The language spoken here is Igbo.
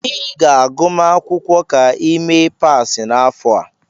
Ị ga-agụma akwụkwọ ka ị mee pass n'afọ a.